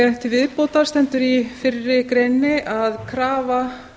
til viðbótar stendur í fyrri greininni að krafa